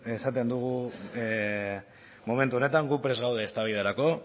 esaten dugu momentu honetan gu prest gaude eztabaidarako